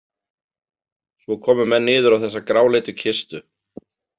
Svo komu menn niður á þessa gráleitu kistu.